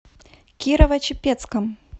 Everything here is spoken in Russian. кирово чепецком